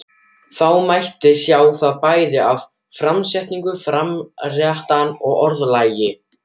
Það mátti sjá það bæði af framsetningu fréttanna og orðalagi.